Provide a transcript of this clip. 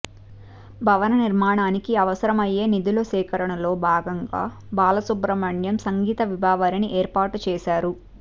భవన నిర్మాణానికి అవసరమయ్యే నిధుల సేకరణలో భాగంగా బాలసుబ్రహ్మణ్యం సంగీత విభావరిని ఏర్పాటు చేశారు